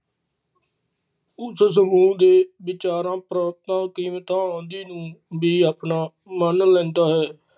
ਉਸ ਸਮੂਹ ਦੇ ਵਿਚਾਰਾਂ, ਪ੍ਰਗਟਾਵਾ, ਰੁਕਾਵਟ, ਆਉਂਦੇ ਨੂੰ ਵੀ ਆਉਣਾ ਮਾਨ ਲੈਂਦਾ ਹੈ